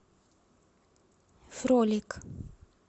фролик